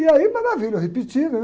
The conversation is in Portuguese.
E aí, maravilha, eu repeti, né?